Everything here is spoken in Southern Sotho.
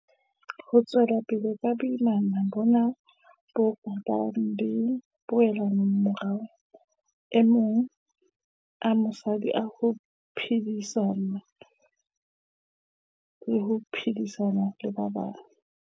Ho tswela pele ka boimana bona ho ka ba le dipoelomorao maemong a mosadi a ho iphedisa le ho phedisana le ba bang.